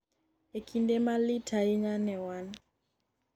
'En kinde ma lit ahinya ne wan.